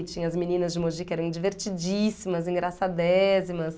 E tinha as meninas de Moji que eram divertidíssimas, engraçadésimas.